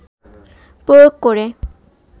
প্রয়োগ করে